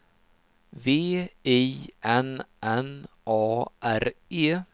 V I N N A R E